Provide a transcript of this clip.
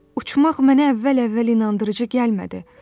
Uçmaq mənə əvvəl-əvvəl inandırıcı gəlmədi.